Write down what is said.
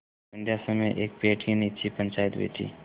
संध्या समय एक पेड़ के नीचे पंचायत बैठी